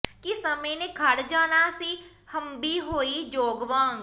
ਕਿ ਸਮੇ ਨੇ ਖੜ ਜਾਣਾ ਸੀ ਹੰਭੀ ਹੋਈ ਜੋਗ ਵਾਂਗ